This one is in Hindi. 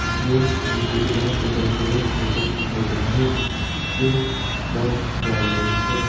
ये नीचे की तरफ उतरते हुए फोटो खींचा गया है के बस जा रही है।